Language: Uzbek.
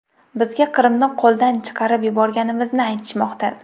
Bizga Qrimni qo‘lgan chiqarib yuborganimizni aytishmoqda.